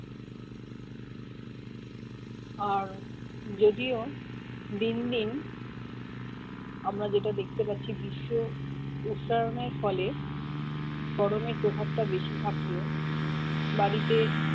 আর যদিও দিন দিন আমরা যেটা দেখতে পাচ্ছি বিশ্ব উষ্ঞায়ণ এর ফলে গরমের প্রভাবটা বেশি থাকলেও বাড়িতে